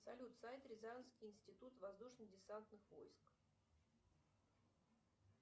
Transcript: салют сайт рязанский институт воздушно десантных войск